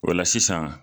O la sisan